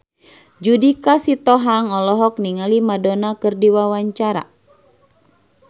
Judika Sitohang olohok ningali Madonna keur diwawancara